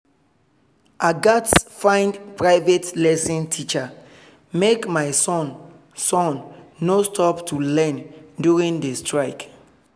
i gats find private lesson teacher make my son son no stop to learn during the strike